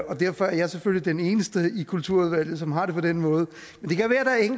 og derfor er jeg selvfølgelig den eneste i kulturudvalget som har det på den måde